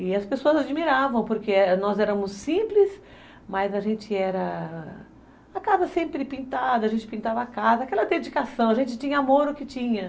E as pessoas admiravam, porque nós éramos simples, mas a gente era... A casa sempre pintada, a gente pintava a casa, aquela dedicação, a gente tinha amor, o que tinha.